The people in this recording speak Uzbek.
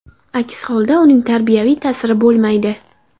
Aks holda, uning tarbiyaviy ta’siri bo‘lmaydi.